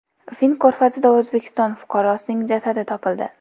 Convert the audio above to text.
Fin ko‘rfazida O‘zbekiston fuqarosining jasadi topildi.